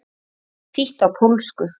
Þýtt á pólsku.